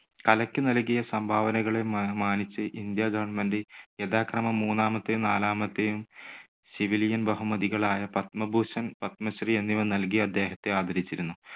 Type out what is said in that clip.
കലയ്ക്ക് നൽകിയ സംഭാവനകളെ മാ~മാനിച്ച് ഇന്ത്യാ government യഥാക്രമം മൂന്നാമത്തെയും നാലാമത്തെയും civilian ബഹുമതികളായ പത്മഭൂഷൻ, പത്മശ്രീ എന്നിവ നൽകി അദ്ദേഹത്തെ ആദരിച്ചിരുന്നു.